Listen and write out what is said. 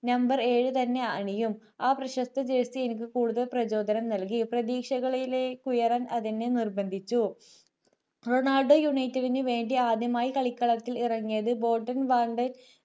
number ഏഴു തന്നെ ആണിയും ആ പ്രശസ്ത jersey എനിക്ക് കൂടുതൽ പ്രചോദനം നൽകി പ്രതീക്ഷകളിലേക്ക് ഉയരാൻ അതെന്നെ നിർബന്ധിച്ചു റൊണാൾഡോ united വിനു വേണ്ടി ആദ്യമായി കളിക്കളത്തിൽ ഇറങ്ങിയത് ബോൾട്ടൻവാണ്ടേ